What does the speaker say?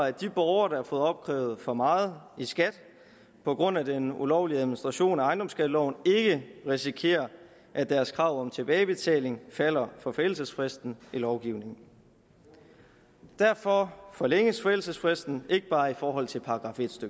at de borgere der har fået opkrævet for meget i skat på grund af den ulovlige administration af ejendomsskatteloven ikke risikerer at deres krav om tilbagebetaling falder for forældelsesfristen i lovgivningen derfor forlænges forældelsesfristen ikke bare i forhold til § en